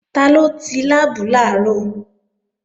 Taló ti láàbù làárọ̀?